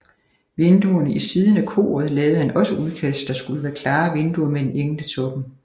Vinduerne i siden af koret lavede han også udkast der skulle være klare vinduer med en engel i toppen